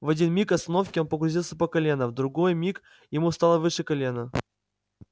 в один миг остановки он погрузился по колено в другой миг ему стало выше колена